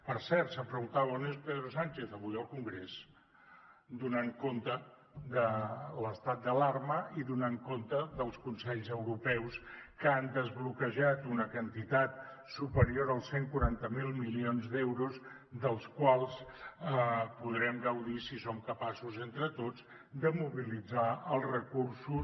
per cert s’han preguntat on és pedro sánchez avui al congrés donant compte de l’estat d’alarma i donant compte dels consells europeus que han desbloquejat una quantitat superior als cent i quaranta miler milions d’euros dels quals podrem gaudir si som capaços entre tots de mobilitzar els recursos